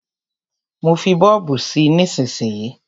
Má fí bọ́ọ̀bù sí nísísíyí.